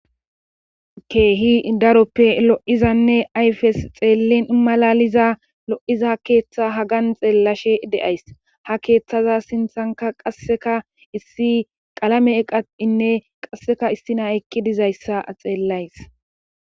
Keehi daroppe lo'izanne ayfes xeellin malaliza lo7iza keeththa hagan xeellashe de'ays ha keeththaza sinthanka qasseka issi qalame eqainne qasseka issi naa ekki dizayssa xeellays.